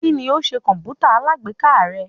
Kíni ó ṣe kọ̀mpútà alágbèéká rẹ?